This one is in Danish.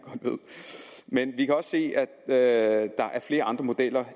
ved men vi kan også se at der er flere andre modeller